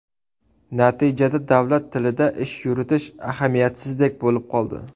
Natijada davlat tilida ish yuritish ahamiyatsizdek bo‘lib qoldi.